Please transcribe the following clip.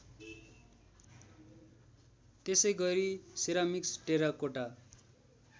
त्यसैगरी ceramics terracotta